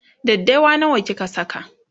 daddawa nawa kika Saka?